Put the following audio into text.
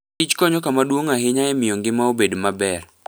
Kich konyo kama duong' ahinya e miyo ngima obed maber.